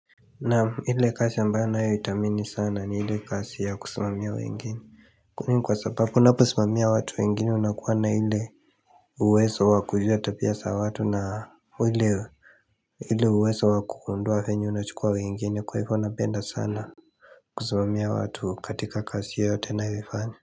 Naam ile kazi ambayo ninayoitamani sana ni ile kasi ya kusimamia wengine Kwani ni kwa sababu unaposimamia watu wengine unakuwa na ile uwezo wakuelewa tabia za watu na ile uwezo wakugundua vyenye unachukua wengine kwa hivyo napenda sana kusimamia watu katika kazi yote ninayoifanya.